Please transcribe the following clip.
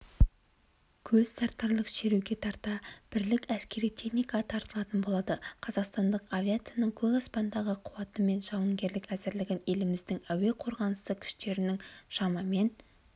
көзтартарлық шеруге тарта бірлік әскери техника тартылатын болады қазақстандық авиацияның көк аспандағы қуаты мен жауынгерлік әзірлігін еліміздің әуе қорғанысы күштерінің шамамен